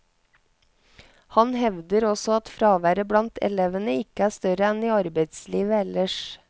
Han hevder også at fraværet blant elevene ikke er større enn i arbeidslivet ellers.